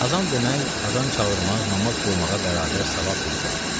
Azan demək, azan çağırmaq namaz qılmağa bərabər savab bir ibadətdir.